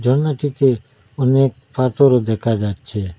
ঝরনাটিতে অনেক পাথরও দেখা যাচ্ছে।